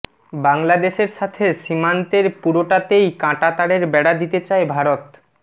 বাংলাদেশের সাথে সীমান্তের পুরোটাতেই কাঁটাতারের বেড়া দিতে চায় ভারত